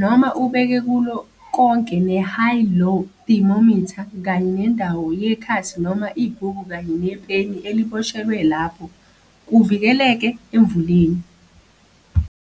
noma ubeke kulo konke ne-high low thermometer kanye nendawo yekhasi noma ibhuku kanye ne peni eliboshelwe lapho, kuvikeleke emvuleni.